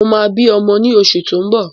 Mo máa bí ọmọ ní oṣù tí ó ń bọ̀